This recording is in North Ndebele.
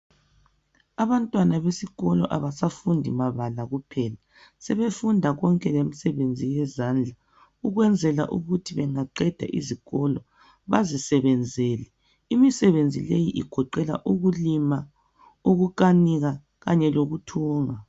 Abantwana besikolo abasafundi mabala kuphela sebefunda konke lemisebenzi yezandla ukwenzela ukuthi bangaqeda izikolo bazisebenzele. Imisebenzi leyi igoqela ukulima ukukanika kanye lokuthunga.